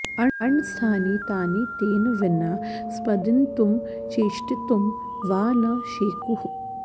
अण्डस्थानि तानि तेन विना स्पन्दितुं चेष्टितुं वा न शेकुः